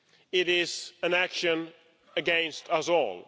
It is an action against us all.